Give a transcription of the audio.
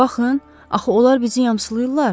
Baxın, axı onlar bizi yamsılayırlar.